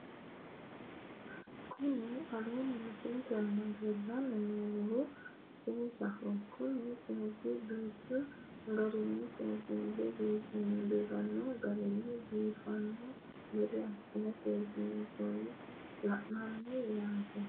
Kuni aleenni misilete aana leellanni noohu seesaho kuni seesu duuchu garinni seesiinse biifanno garinni biifanno gede assine seesiinsoonnihu leellanno yaaate